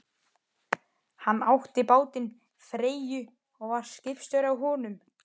Hann átti bátinn Freyju og var skipstjóri á honum.